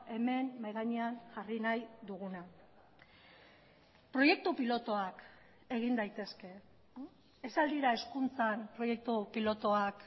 hemen mahai gainean jarri nahi duguna proiektu pilotuak egin daitezke ez al dira hezkuntzan proiektu pilotuak